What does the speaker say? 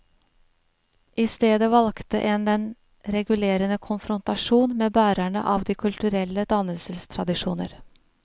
I stedet valgte en den regulerende konfrontasjon med bærerne av de kulturelle dannelsestradisjoner.